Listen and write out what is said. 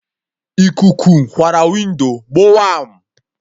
Ikuku kwarụ windo gbowam!